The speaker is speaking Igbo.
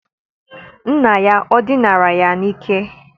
Nna ya ọ dinara ya n'ike?